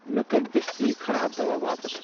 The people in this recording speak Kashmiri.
مےٚ کٔرۍ دٔستی خراب دوا واپس۔